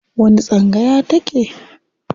A wani tsangaya ta ke?